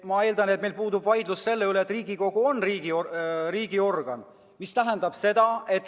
Ma eeldan, et me ei vaidle selle üle, kas Riigikogu on riigiorgan.